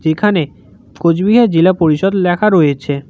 এখানে কুচবিহার জেলা পরিষদ লেখা রয়েছে।